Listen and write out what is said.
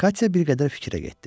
Katya bir qədər fikrə getdi.